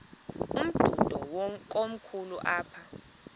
umdudo komkhulu apha